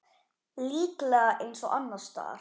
Líklega eins og annars staðar.